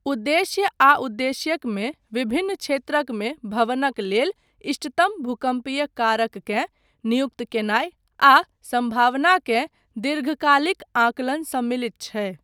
उद्देश्य आ उद्देश्यक मे विभिन्न क्षेत्रकमे भवनक लेल इष्टतम भूकम्पीय कारककेँ नियुक्त कयनाय आ सम्भावना केँ दीर्घकालिक आंकलन सम्मिलित छै।